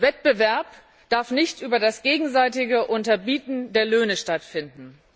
Wettbewerb darf nicht über das gegenseitige Unterbieten der Löhne stattfinden.